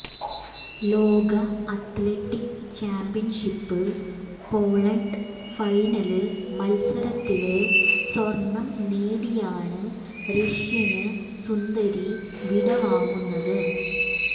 ലോക അത്ലറ്റിക്ക് ചാമ്പ്യന്ഷിപ്പില് പോള്വാള്ട്ട് ഫൈനല് മത്സരത്തില് സ്വര്ണം നേടിയാണ് റഷ്യന് സുന്ദരി വിടവാങ്ങുന്നത്